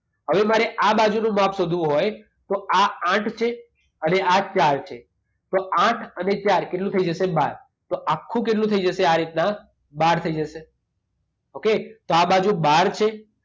હવે મારે આ બાજુનું માપ શોધવું હોય તો આ આઠ છે અને આ ચાર છે. તો આઠ અને ચાર કેટલું થઈ જશે? બાર. તો આખું કેટલું થઈ જશે આ રીતના? બાર થઈ જશે. ઓકે? તો આ બાજુ બાર છે